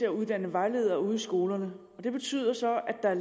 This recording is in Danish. at uddanne vejledere ude i skolerne og det betyder så at der er